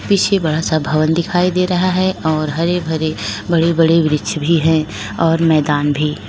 पीछे बड़ा सा भवन दिखाई दे रहा है और हरे भरे बड़े बड़े वृक्ष भी हैं और मैदान भी।